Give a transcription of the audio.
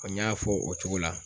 Ko n y'a fɔ o cogo la.